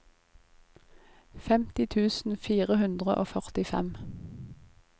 femti tusen fire hundre og førtifem